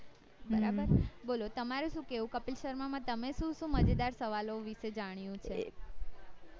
બરાબર બોલો તમારે શું કેવું કપિલ શર્મા માં તમે શું શું મજેદાર સવાલ ઓ વિષે જાણ્યું છે